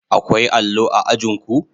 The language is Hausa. Akwai allo a ajin ku?